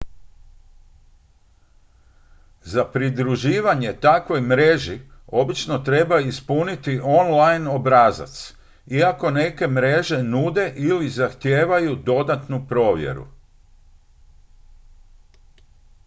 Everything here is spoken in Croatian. za pridruživanje takvoj mreži obično treba ispuniti online obrazac iako neke mreže nude ili zahtijevaju dodatnu provjeru